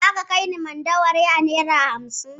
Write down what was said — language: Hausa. Za ka kai ni Mandawari a naira hamsin?